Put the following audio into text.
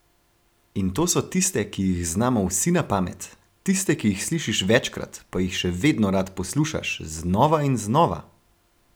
In to so tiste, ki jih znamo vsi na pamet, tiste, ki jih slišiš večkrat, pa jih še vedno rad poslušaš, znova in znova!